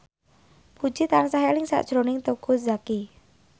Puji tansah eling sakjroning Teuku Zacky